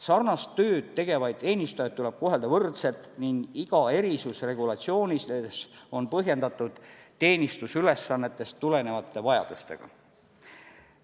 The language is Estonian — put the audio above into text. Sarnast tööd tegevaid teenistujaid tuleb kohelda võrdselt ning iga erisus regulatsiooni sees on põhjendatud teenistusülesannetest tulenevate vajadustega.